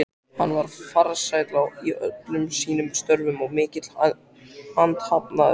Hann var farsæll í öllum sínum störfum og mikill athafnamaður.